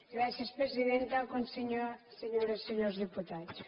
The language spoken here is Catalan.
gràcies presidenta senyores i senyors diputats